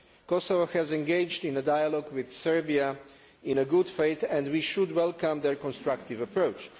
Kosovo has engaged in a dialogue with Serbia in good faith, and we should welcome their constructive approach.